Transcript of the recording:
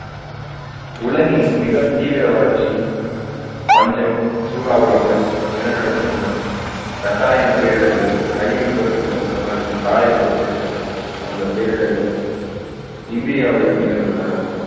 உலகின் மிகத் தீவிர வறட்சி, பஞ்சம், சூறாவளிகள், நிலநடுக்கம், ரசாயன பேரிடர்கள், ரயில் விபத்துக்கள் மற்றும் சாலை விபத்துகள் போன்ற பேரிடர்கள் இந்தியாவில் நிகழ்ந்துள்ளன.